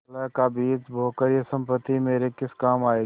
कलह का बीज बोकर यह सम्पत्ति मेरे किस काम आयेगी